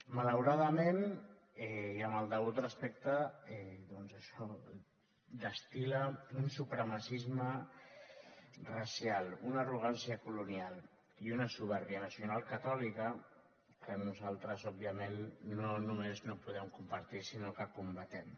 malauradament i amb el degut respecte doncs això destil·la un supremacisme racial una arrogància colonial i una supèrbia nacionalcatòlica que nosaltres òbviament no només no podem compartir sinó que combatem